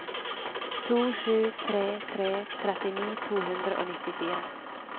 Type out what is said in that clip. to sju tre tre trettini to hundre og nittifire